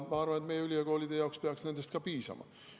Ma arvan, et meie ülikoolide jaoks peaks nendest piisama.